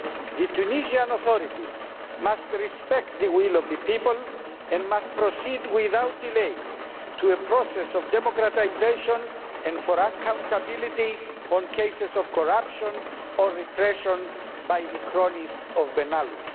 The Tunisian authorities must respect the will of the people and proceed without delay to a process of democratisation, with accountability in cases of corruption or repression by the cronies of Ben Ali.